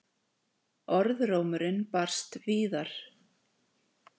Orðrómurinn barst víðar.